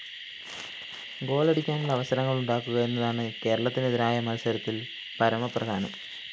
ഗോളടിക്കാനുള്ള അവസരങ്ങള്‍ ഉണ്ടാക്കുക എന്നതാണ് കേരളത്തിനെതിരായ മത്സരത്തില്‍ പരമ പ്രധാനം